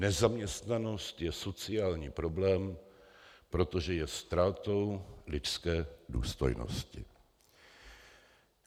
Nezaměstnanost je sociální problém, protože je ztrátou lidské důstojnosti.